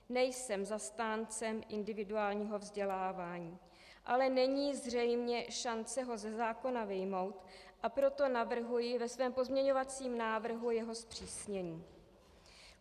Nejsem zastánce individuálního vzdělávání, ale není zřejmě šance ho ze zákona vyjmout, a proto navrhuji ve svém pozměňovacím návrhu jeho zpřísnění.